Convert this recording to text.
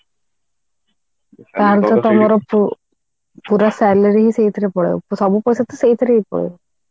ତାହାଲେ ତ ତମର ପୁ ପୁରା salary ହି ସେଇଥିରେ ପଳେଇବ ସବୁ ପଇସା ତ ସେଇଥିରେ ହି ପଳେଇବ